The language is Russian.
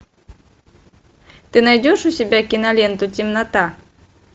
ты найдешь у себя киноленту темнота